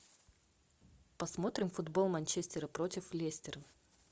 посмотрим футбол манчестера против лестера